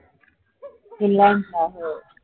Finland चा हो